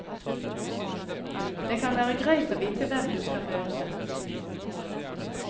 Det kan være greit å vite hvem du skal møte.